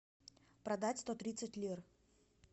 продать сто тридцать лир